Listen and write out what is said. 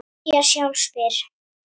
Hið nýja sjálf spyr